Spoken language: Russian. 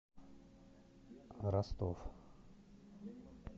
ростов